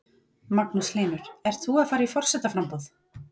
Magnús Hlynur: Ert þú að fara í forsetaframboð?